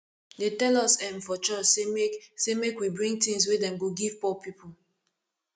dey tell us um for church sey make sey make we bring tins wey dem go give poor people